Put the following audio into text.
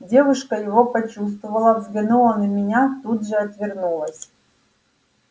девушка его почувствовала взглянула на меня тут же отвернулась